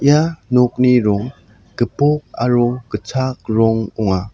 ia nokni rong gipok aro gitchak rong ong·a.